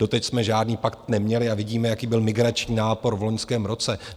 Doteď jsme žádný pakt neměli a vidíme, jaký byl migrační nápor v loňském roce.